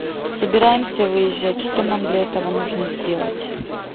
собираемся выезжать что нам для этого нужно сделать